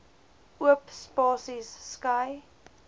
oop spasies skei